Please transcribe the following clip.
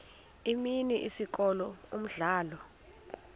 imini isikolo umdlalo